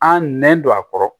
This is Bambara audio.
An nɛn don a kɔrɔ